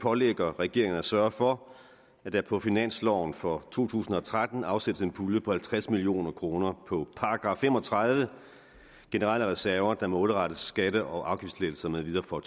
pålægger regeringen at sørge for at der på finansloven for to tusind og tretten afsættes en pulje på halvtreds million kroner på § fem og tredive generelle reserver der målrettes skatte og afgiftslettelser med videre for